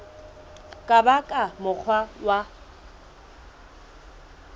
ka ba ka mokgwa wa